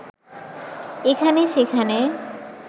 এখানে-সেখানে